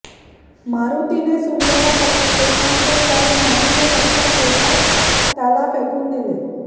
मारुतीने सूर्याला पकडले पण ते फळ नाही हे लक्षात येताच त्याला फेकून दिले